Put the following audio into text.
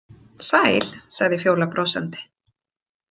Sæl, sagði Fjóla brosandi.